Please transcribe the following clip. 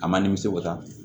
A man nimisiwasa